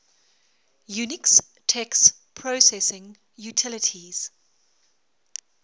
unix text processing utilities